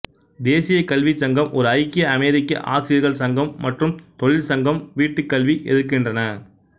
தேசிய கல்வி சங்கம் ஒரு ஐக்கிய அமெரிக்க ஆசிரியர்கள் சங்கம் மற்றும் தொழில் சங்கம் வீட்டுக்கல்வி எதிர்க்கின்றன